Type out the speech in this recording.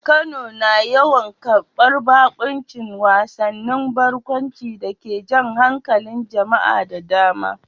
Kano na yawan karbar baƙuncin wasannin barkwanci da ke jan hankalin jama'a da dama.